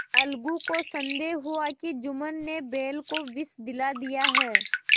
अलगू को संदेह हुआ कि जुम्मन ने बैल को विष दिला दिया है